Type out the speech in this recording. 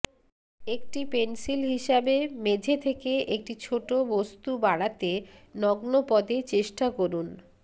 একটি পেন্সিল হিসাবে মেঝে থেকে একটি ছোট বস্তু বাড়াতে নগ্নপদে চেষ্টা করুন